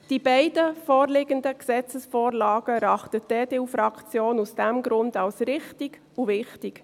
Die beiden vorliegenden Gesetzesvorlagen erachtet die EDU-Fraktion aus diesem Grund als richtig und wichtig.